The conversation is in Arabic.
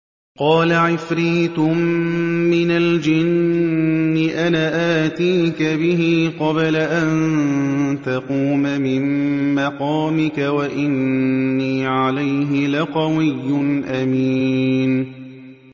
قَالَ عِفْرِيتٌ مِّنَ الْجِنِّ أَنَا آتِيكَ بِهِ قَبْلَ أَن تَقُومَ مِن مَّقَامِكَ ۖ وَإِنِّي عَلَيْهِ لَقَوِيٌّ أَمِينٌ